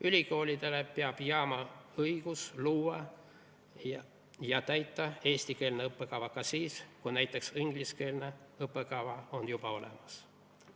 Ülikoolidele peab jääma õigus luua ja täita eestikeelset õppekava ka siis, kui näiteks ingliskeelne õppekava on juba olemas.